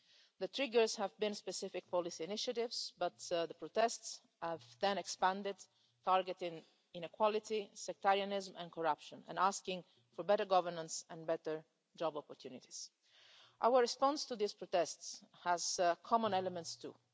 The triggers have been specific policy initiatives but the protests have then expanded, targeting inequality, sectarianism and corruption and asking for better governance and better job opportunities. Our response to these protests has common elements, too.